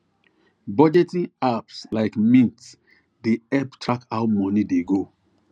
budgeting apps like mint dey help track how money dey go